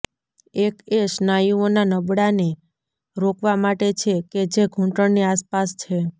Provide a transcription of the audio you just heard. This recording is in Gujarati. એક એ સ્નાયુઓના નબળાને રોકવા માટે છે કે જે ઘૂંટણની આસપાસ છે